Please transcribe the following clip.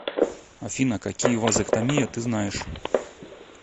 афина какие вазэктомия ты знаешь